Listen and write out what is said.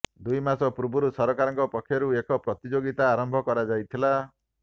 ଦୁଇ ମାସ ପୂର୍ବରୁ ସରକାରଙ୍କ ପକ୍ଷରୁ ଏକ ପ୍ରତିଯୋଗୀତା ଆରମ୍ଭ କରାଯାଇଥିଲା